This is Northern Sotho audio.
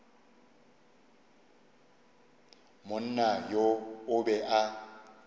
monna yo o be a